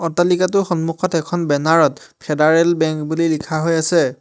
অট্টালিকাটোৰ সন্মুখত এখন বেনাৰ ত ফেডাৰেল বেংক বুলি লিখা হৈ আছে।